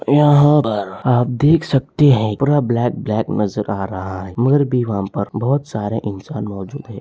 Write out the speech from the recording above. यहां पर आप देख सकते हैं पूरा ब्लैक ब्लैक नजर आ रहा है मगर भी वहां पर बहोत सारे इंसान मौजूद है।